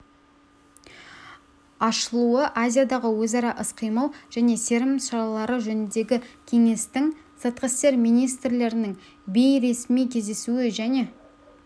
ашылуы азиядағы өзара іс-қимыл және сенім шаралары жөніндегі кеңестің сыртқы істер министрлерінің бейресми кездесуі және